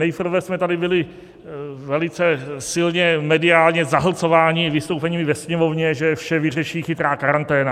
Nejprve jsme tady byli velice silně mediálně zahlcováni vystoupeními ve Sněmovně, že vše vyřeší chytrá karanténa.